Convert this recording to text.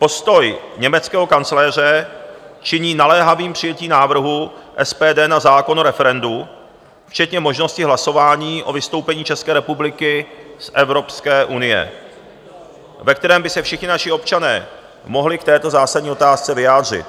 Postoj německého kancléře činí naléhavým přijetí návrhu SPD na zákon o referendu včetně možnosti hlasování o vystoupení České republiky z Evropské unie, ve kterém by se všichni naši občané mohli k této zásadní otázce vyjádřit.